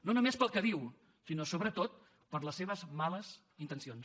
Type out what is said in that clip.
no només pel que diu sinó sobretot per les seves males intencions